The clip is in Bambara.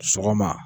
Sɔgɔma